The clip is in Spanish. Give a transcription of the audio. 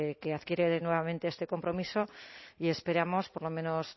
que adquiere nuevamente este compromiso y esperamos por lo menos